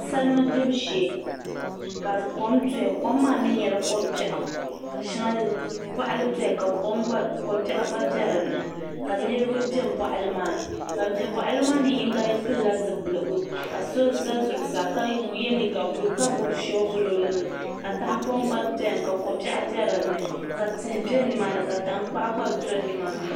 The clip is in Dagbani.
Salima gbubi shee ka kom doya kom maa mii nyɛla ko biɛɣu ka shɛŋa boɣali doya ka kom bɛ dinni ka niraba bɛ boɣali maa ni ban bɛ boɣali maa ni yinga pilila zipiligu ka so ʒɛ zuɣusaa ka yɛ liiga buluu ka gbubi shoovul o nuuni ka tahaopoŋ gba biɛni ka ko biɛɣu bɛ dinni ka tihi bɛ nimaani ka tankpaɣu gba do nimaani